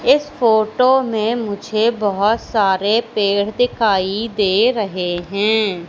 इस फोटो में मुझे बहोत सारे पेड़ दिखाई दे रहे हैं।